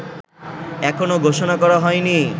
এখনো ঘোষণা করা হয়নি